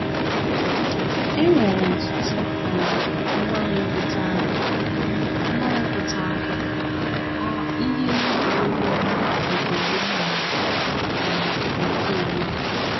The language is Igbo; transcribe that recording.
E nwere ọtụtụ um mgbanwe pụtara um mgbanwe pụtara um ihe n’egwuregwu ọnwa nke gboo na um nke ugbua